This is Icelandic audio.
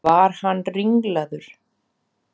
Var hann ringlaður?